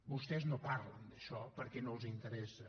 vostès no parlen d’això perquè no els interessa